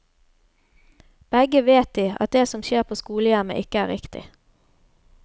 Begge vet de, at det som skjer på skolehjemmet ikke er riktig.